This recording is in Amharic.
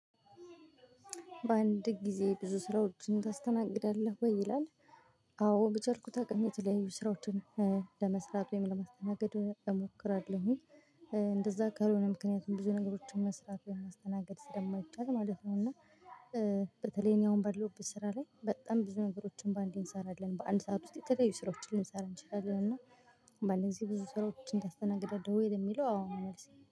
በአንድ ጊዜ ብዙ ስራዎችን ታስተናግዳለህ ወይ ይላል? አዎ በቻልኩት አቅም የተለያዩ ስራዎችን ለመስራት ወይም ለማስተናገድ እሞክራለሁ ኝ። እንደዛ ካልሆነ ምክንያቱም ብዙ ነገሮችን መስራት የማስተናግድ ስለማይቻል ማለት ነው። እና በተለይ እኔ አሁን ባለሁበት ስራ ላይ በጣም ብዙ ነገሮችን በአንዴ እንሰራለን በአንድ ሰዓት ውስጥ የተለያዩ ስራዎችን ልንሰራ እንችላለን። እና በአንድ ጊዜ ብዙ ስራዎችን ታስተናግዳለህ ወይ ለሚለው አዎ ነው መልሴ